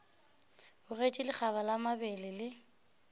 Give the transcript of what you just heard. bogetše lekgaba la mabele le